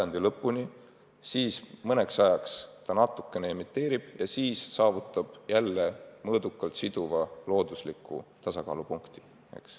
Noor mets mõnda aega natukene emiteerib süsinikku, siis aga saavutab mõõdukalt siduva loodusliku tasakaalupunkti.